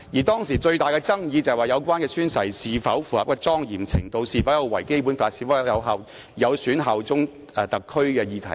當時最大的爭議是有關宣誓的莊嚴程度、是否有違《基本法》，以及是否有損對特區的效忠的議題。